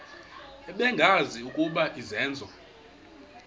bengazi ukuba izenzo